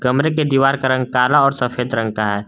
कमरे के दीवार का रंग काला और सफेद रंग का है।